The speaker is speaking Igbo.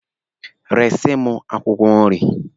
Resi m akwụkwọ nri!